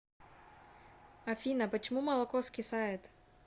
афина почему молоко скисает